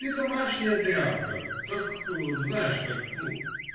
ты домашняя тряпка как знаешь как